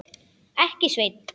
Ekki, Sveinn.